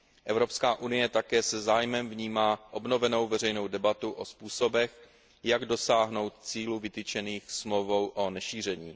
Evropská unie také se zájmem vnímá obnovenou veřejnou debatu o způsobech, jak dosáhnout cílů vytyčených Smlouvou o nešíření.